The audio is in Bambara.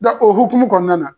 Da o hukumu kɔnɔna na.